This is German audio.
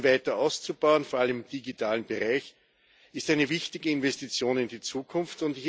Ihn weiter auszubauen, vor allem im digitalen Bereich, ist eine wichtige Investition in die Zukunft.